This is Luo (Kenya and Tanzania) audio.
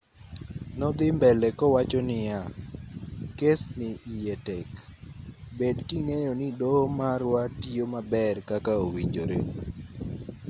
nodhii mbele kowacho niya kes ni iye tek bed king'eyo ni doho marwa tiyo maber kaka owinjore